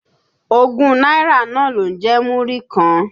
Ogún náírà náà ló ń jẹ́ Múrí kan.